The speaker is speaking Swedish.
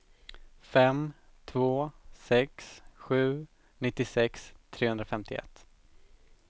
fem två sex sju nittiosex trehundrafemtioett